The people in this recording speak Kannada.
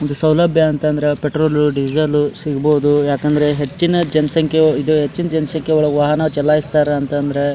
ಒಂದು ಸೌಲಭ್ಯ ಅಂತಾದ್ರ ಪೆಟ್ರೋಲ್ ಡೀಸೆಲ್ ಸಿಗ್ಬಹುದು ಯಾಕಂದ್ರ ಹೆಚ್ಚಿನ ಜನಸಂಖ್ಯೆ ಹೆಚ್ಚಿನ ಜನಸಂಖ್ಯೆ ಒಳಗೆ ವಾಹನ ಚಲಯ್ಸ್ತಾರೆ ಅಂತಂದ್ರ --